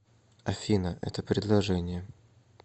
афина это предложение